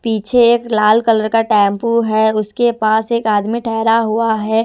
पीछे एक लाल कलर का टैंपू है उसके पास एक आदमी ठहरा हुआ है.